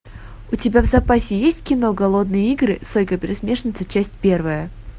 у тебя в запасе есть кино голодные игры сойка пересмешница часть первая